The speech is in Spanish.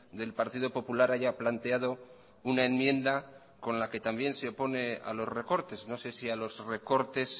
del partido popular haya planteado una enmienda con la que también se opone a los recortes no sé si a los recortes